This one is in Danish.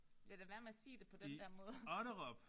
Lad da være med at sige det på den der måde